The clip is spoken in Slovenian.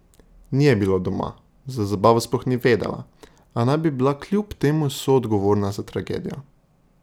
Ni je bilo doma, za zabavo sploh ni vedela, a naj bi bila kljub temu soodgovorna za tragedijo.